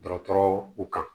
Dɔgɔtɔrɔw u kan